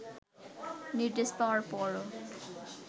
নির্দেশ পাওয়ার পরও